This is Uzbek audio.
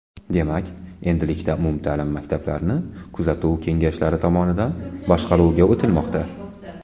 Demak, endilikda umumta’lim maktablarni kuzatuv kengashlari tomonidan boshqaruvga o‘tilmoqda.